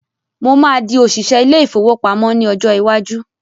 Mo máa di òṣìṣẹ́ ilé-ìfowópamọ ní ọjọ́ iwájú.